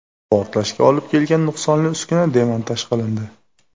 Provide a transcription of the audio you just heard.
Portlashga olib kelgan nuqsonli uskuna demontaj qilindi.